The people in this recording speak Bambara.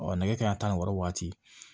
nɛgɛ kanɲɛ tan ni wɔɔrɔ waati